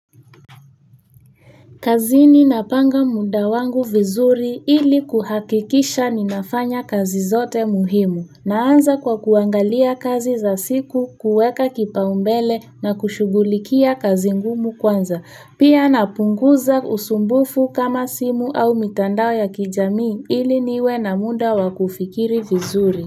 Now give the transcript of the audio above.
Kazini napanga muda wangu vizuri ili kuhakikisha ninafanya kazi zote muhimu. Naanza kwa kuangalia kazi za siku, kueka kipau mbele na kushughulikia kazi ngumu kwanza. Pia napunguza usumbufu kama simu au mitandao ya kijami ili niwe na muda wakufikiri vizuri.